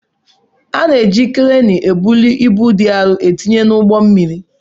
A na-eji kreenu ebuli ibu dị arụ etinye n'ụgbọ mmiri.